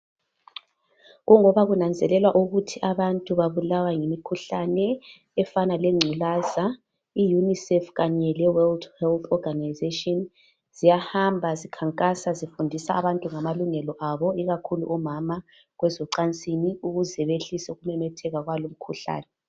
Kungoba kunanzelelwa ukuthi abantu babulawa yimkhuhlane efana le ngcukaza I UNICEF Kanye le World Health Organization siyahamba zinkankasa zifundisa abantu ngamalungelo abo ikakhulu omama kwezocansini ukuze behlise ukumemetheka kwalo umkhuhlane.